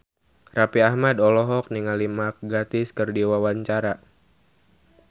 Raffi Ahmad olohok ningali Mark Gatiss keur diwawancara